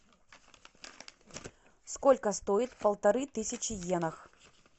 сколько стоит полторы тысячи йенах